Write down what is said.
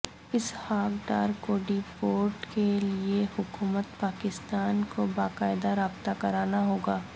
اسحاق ڈار کو deport کے لئے حکومت پاکستان کوباقاعدہ رابطہ کرنا ہوگا